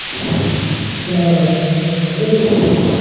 Allahabad bank এটা বেসরকারি